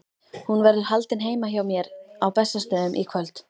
Hún verður haldin heima hjá mér á Bessastöðum í kvöld.